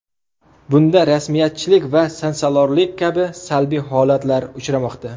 Bunda rasmiyatchilik va sansalorlik kabi salbiy holatlar uchramoqda.